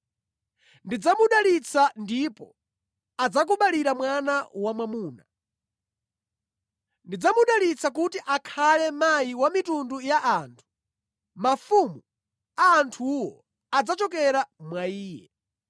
Ndidzamudalitsa ndipo adzakubalira mwana wamwamuna. Ndidzamudalitsa kuti akhale mayi wa mitundu ya anthu; mafumu a anthuwo adzachokera mwa iye.”